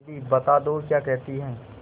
दीदी बता दो क्या कहती हैं